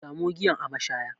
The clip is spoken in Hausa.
Samo giyan a mashaya